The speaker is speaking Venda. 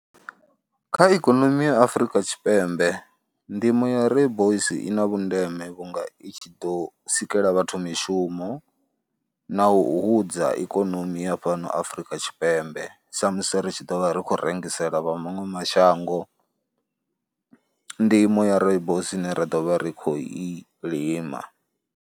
Kha ikonomi ya Afrika Tshipembe ndimo ya Rooibos i na vhundeme vhunga i tshi ḓo sikela vhathu mishumo na u hudza ikonomi ya fhano Afrika Tshipembe sa musi ri tshi ḓo vha ri khou rengisela vha maṅwe mashango ndimo ya Rooibos ine ra ḓo vha ri khou i lima.